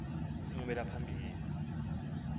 nye indlela yabo